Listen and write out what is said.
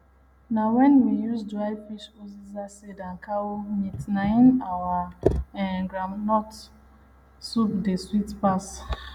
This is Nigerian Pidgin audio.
na wen we use dry fish uziza seed and cow meat na im our um groundnut soup dey sweet pass